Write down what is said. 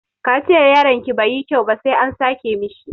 Kaciyar yaronki bai yi kyau ba sai an sake mishi.